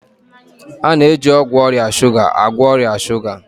A na-eji ọgwụ ọrịa shuga agwọ ọrịa shuga